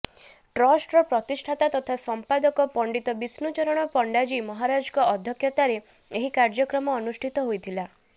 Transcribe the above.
ଟ୍ରଷ୍ଟର ପ୍ରତିଷ୍ଠତା ତଥା ସମ୍ପାଦକ ପଣ୍ଡିତ ବିଷ୍ଣୁଚରଣ ପଣ୍ଡାଜୀ ମହାରାଜଙ୍କ ଅଧ୍ୟକ୍ଷତାରେ ଏହି କାର୍ଯ୍ୟକ୍ରମ ଅନୁଷ୍ଠିତ ହୋଇଥିଲା